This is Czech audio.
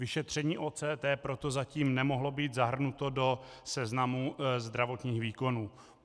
Vyšetření OCT proto zatím nemohlo být zahrnuto do seznamu zdravotních výkonů.